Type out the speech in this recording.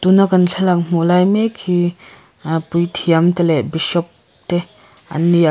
tuna kan thlalak hmuh lai mek hi ahh puithiam te leh bishop te an ni a.